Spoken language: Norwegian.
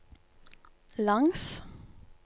langs